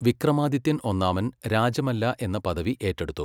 വിക്രമാദിത്യൻ ഒന്നാമൻ രാജമല്ല എന്ന പദവി ഏറ്റെടുത്തു.